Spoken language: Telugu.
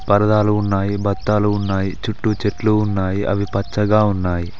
పరదాలు ఉన్నాయి బతాలు ఉన్నాయి చుట్టూ చెట్లు ఉన్నాయి అవి పచ్చగా ఉన్నాయి.